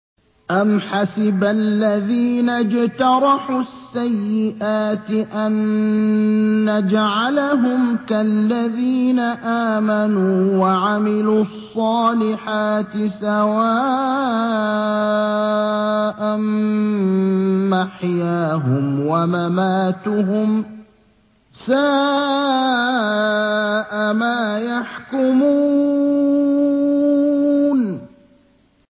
أَمْ حَسِبَ الَّذِينَ اجْتَرَحُوا السَّيِّئَاتِ أَن نَّجْعَلَهُمْ كَالَّذِينَ آمَنُوا وَعَمِلُوا الصَّالِحَاتِ سَوَاءً مَّحْيَاهُمْ وَمَمَاتُهُمْ ۚ سَاءَ مَا يَحْكُمُونَ